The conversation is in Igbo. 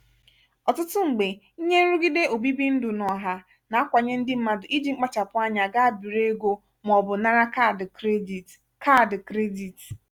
ọtụtụ mgbe ihe nrụgide obibi ndụ n'ọha na-akwanye ndị mmadụ iji mkpachapụ anya gaa biri ego maọbụ nara kaadị krediti. kaadị krediti.